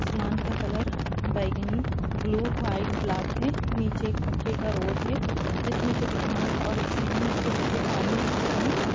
आसमान का कलर बैंगनी ब्लू व्हाइट ब्लैक है। नीचे एक पक्के का रोड है जिसमें कुछ घास और एक साइड में थोड़ा सी पानी दिख रही है।